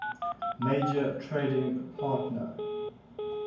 major trading partner